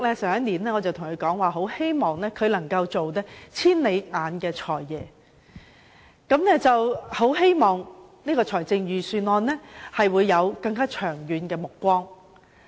去年，我曾跟他說希望他能做"千里眼財爺"，在制訂預算案時能有更長遠的目光。